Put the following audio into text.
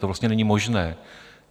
To vlastně není možné.